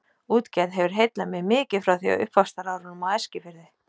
Útgerð hefur heillað mig mikið frá því á uppvaxtarárunum á Eskifirði.